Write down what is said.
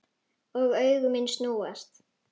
Og augu mín snúast.